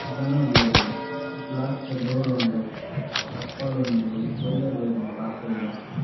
ಜನ ಉಲ್ಲೆರ್ ಗ್ಲಾಸ್ ದ ಡೋರ್ ಉಂಡು ಚಪ್ಪಲ್ ಉಂಡು ಒಂಜಿ ಕೊರಿಯರ್ ಬೈದಿನ್ದ ಪಾರ್ಸೆಲ್ ದ .